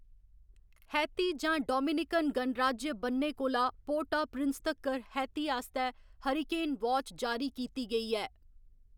Haiti जां Dominican गणराज्य ब'न्नै कोला पोर्ट आ प्रिंस तक्कर हैती आस्तै हरिकेन वाच जारी कीती गेई ऐ।